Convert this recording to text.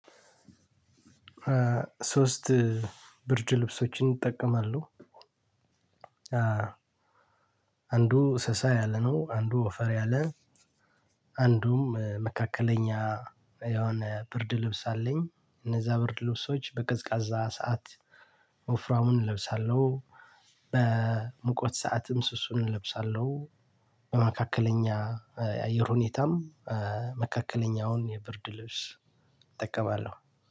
ሶስት ብርድ ልብሶችን እጠቀማለሁ። አንዱ ሰሳ ያለ ነው አንዱ ወፈር ያለ አንዱም መካከለኛ የሆነ ብርድ ልብስ አለኝ። እነዛ ብርድ ልብሶች በቀዝቃዛ ሰዓት። ወፍራሙን እለብሳለሁ በሙቀት ሰዓትም ስሱን እለብሳለሁ። በመካከለኛ የአየር ሁኔታም መካከለኛውን የብርድ ልብስ እጠቀማለሁ።